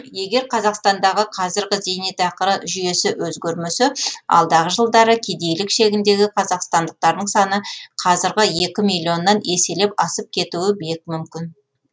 егер қазақстандағы қазіргі зейнетақыры жүйесі өзгермесе алдағы жылдары кедейлік шегіндегі қазақстандықтардың саны қазіргі екі миллионнан еселеп асып кетуі бек мүмкін